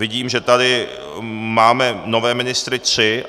Vidím, že tady máme nové ministry tři.